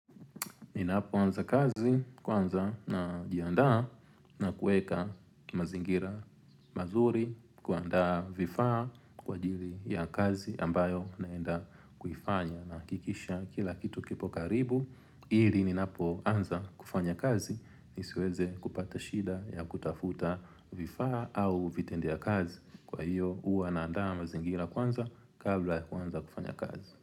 Ninapoanza kazi kwanza najiandaa na kuweka mazingira manzuri, kuandaa vifaa kwa ajili ya kazi ambayo naenda kuifanya na kuhakikisha kila kitu kipo karibu. Ili ninapo anza kufanya kazi nisiweze kupata shida ya kutafuta vifaa au vitendea kazi kwa hiyo huwa naandaa mazingira kwanza kabla ya kuanza kufanya kazi.